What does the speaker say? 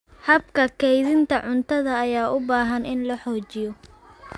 Habka kaydinta cuntada ayaa u baahan in la xoojiyo.